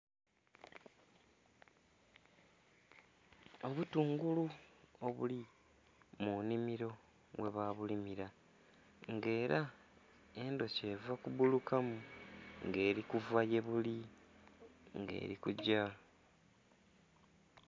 Obutungulu obuli mu nhimilo mwe babulimila nga era endhoki eva ku buluka mu nga erikuva yebuli nga erikugya.